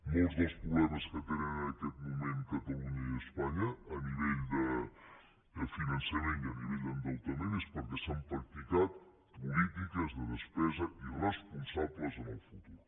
molts dels problemes que tenen en aquest moment catalunya i espanya a nivell de finançament i a nivell d’endeutament són perquè s’han practicat polítiques de despesa irresponsables en el futur